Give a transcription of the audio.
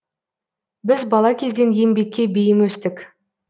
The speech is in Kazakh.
біз бала кезден еңбекке бейім өстік